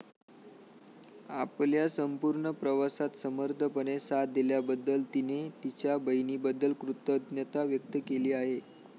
आपल्या संपूर्ण प्रवासात समर्थपणे साथ दिल्याबद्दल तिने तिच्या बहिणीबद्दल कृतज्ञता व्यक्त केली आहे.